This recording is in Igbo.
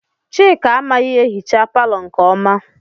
Chika amaghị ehicha palọ nke ọma.